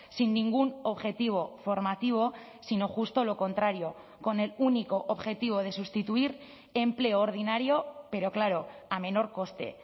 sin ningún objetivo formativo sino justo lo contrario con el único objetivo de sustituir empleo ordinario pero claro a menor coste